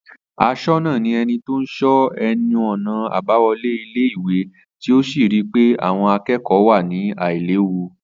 Asónà ni eni tó n so eni abáwolé ilé ìwé tí ó sì rí pé àwon akékòó wà ní àìléwu